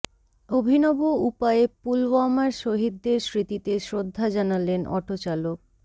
অভিনব উপায়ে পুলওয়ামার শহিদদের স্মৃতিতে শ্রদ্ধা জানালেন অটো চালক